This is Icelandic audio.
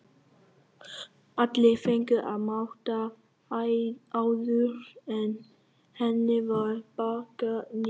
Allir fengu að máta áður en henni var pakkað niður.